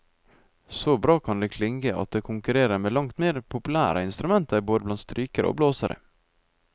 Så bra kan det klinge at det konkurrerer med langt mer populære instrumenter både blant strykerne og blåserne.